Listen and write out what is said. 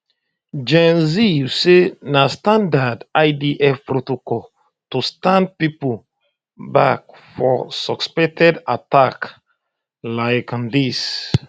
gen ziv say na standard idf protocol to stand pipo back for suspected attacks like um dis